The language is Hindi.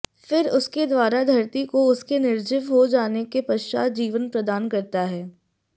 फिर उसके द्वारा धरती को उसके निर्जीव हो जाने के पश्चात जीवन प्रदान करता है